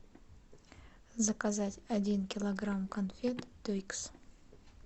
заказать один килограмм конфет твикс